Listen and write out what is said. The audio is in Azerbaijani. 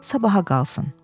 Sabaha qalsın.